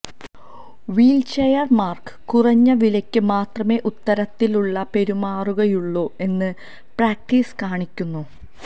വീൽചെയർമാർക്ക് കുറഞ്ഞ വിലയ്ക്ക് മാത്രമേ ഇത്തരത്തിലുള്ള പെരുമാറുകയുള്ളൂ എന്ന് പ്രാക്ടീസ് കാണിക്കുന്നു